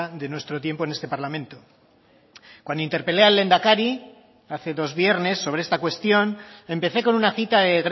de nuestro tiempo en este parlamento cuando interpelé al lehendakari hace dos viernes sobre esta cuestión empecé con una cita de